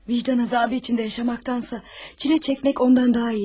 Vicdan azabı içinde yaşamaktansa, çile çekmek ondan daha iyidir.